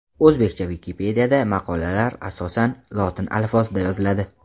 O‘zbekcha Wikipedia’da maqolalar asosan lotin alifbosida yoziladi.